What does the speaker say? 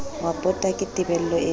wa pota ke tebello eo